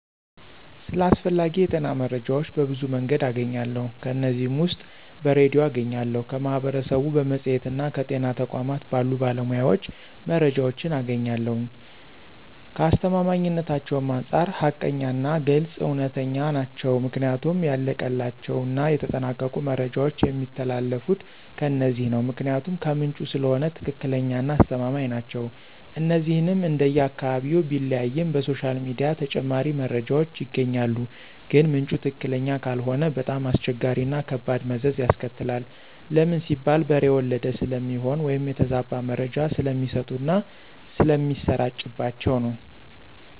ስለ አስፈላጊ የጤና መረጃዎች በብዙ መንገድ አገኛለሁ ከነዚህም ውስጥ በሬድዮ አገኛለሁ፣ ከማህበረሰቡ፣ በመፅሔትና ከጤና ተቋማት ባሉ ባለሞያዎች መረጃዎችን አገኛለሁኝ፣ ከአስተማማኝነታቸውም አንፃር ሀቀኛና ግልፅ፣ እውነተኛ ናቸው ምክንያቱም ያለቀላቸውና የተጠናቀቁ መረጃዎች የሚተላለፊት ከነዚህ ነው ምክንያቱም ከምንጩ ስለሆነ ትክክለኛና አስተማማኝ ናቸው። እነዚህንም እንደየ አካባቢው ቢለያይም በሶሻል ሚዲያ ተጨማሪ መረጃዎች ይገኛሉ ግን ምንጩ ትክክለኛ ካልሆነ በጣም አስቸጋሪዎችና ከባድ መዘዝ ያስከትላል ለምን ሲባል በሬ ወለደ ስለሚሆን ወይም የተዛባ መረጃ ስለሚሰጡና ስለሚሰራጭባቸው ነው።